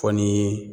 Fɔ ni